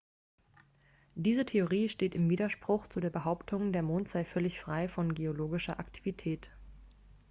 diese theorie steht im widerspruch zu der behauptung der mond sei völlig frei von geologischer aktivität